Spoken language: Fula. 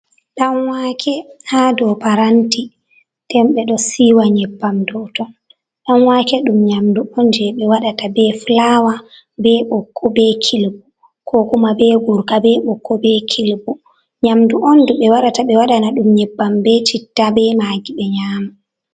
Ɗanwake ha dow paranti. Ɗen be ɗo siiwa nyebbam dow ton. Ɗanwake ɗum nyamɗu on je be waɗata. be fulawa, be bokko, be kilbu, ko kuma be gurka, be bokko, be kilbu. nyamɗu on ɗu be warata be waɗana ɗum nyebbam be citta be magi be nyama.